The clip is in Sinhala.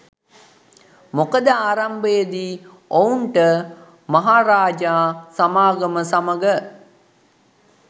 මොකද ආරම්භයේදී ඔවුන්ට මහරාජා සමාගම සමග